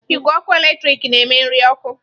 Igwe ọkụ eletrik na-eme nri ọkụ.